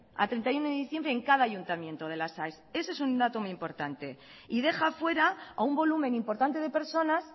a treinta y uno de diciembre en cada ayuntamiento de las aes ese es un dato muy importante y deja fuera a un volumen importante de personas